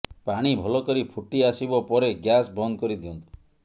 ପାଣି ଭଲ କରି ଫୁଟି ଆସିବ ପରେ ଗ୍ୟାସ ବନ୍ଦ କରିଦିଅନ୍ତୁ